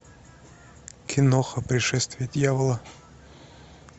киноха пришествие дьявола